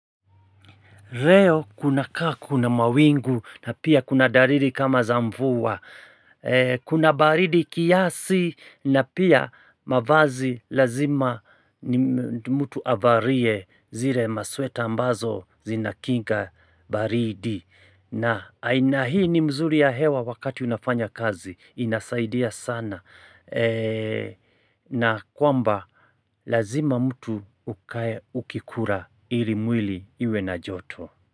Leo kuna kaa kuna mawingu na pia kuna dalili kama za mvua. Kuna baridi kiasi na pia mavazi lazima mtu avalie zile masweta ambazo zinakinga baridi. Na aina hii ni mzuri ya hewa wakati unafanya kazi inasaidia sana na kwamba lazima mtu ukae ukikula ili mwili iwe na joto.